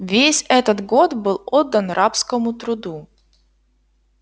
весь этот год был отдан рабскому труду